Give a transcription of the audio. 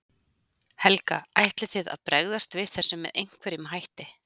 Helga: Ætlið þið að bregðast við þessu með einhverjum hætti?